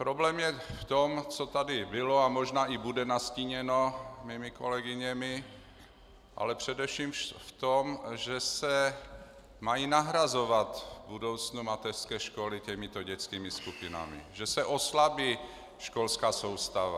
Problém je v tom, co tady bylo a možná i bude nastíněno mými kolegyněmi, ale především v tom, že se mají nahrazovat v budoucnu mateřské školy těmito dětskými skupinami, že se oslabí školská soustava.